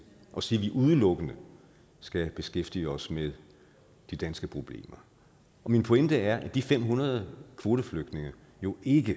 og sige at vi udelukkende skal beskæftige os med de danske problemer og min pointe er at de fem hundrede kvoteflygtninge jo ikke